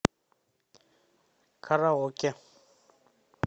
караоке